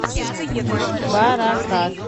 баракат